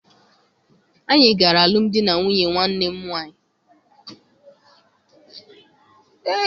Anyị gara alụmdi na nwunye nwanne m nwaanyị.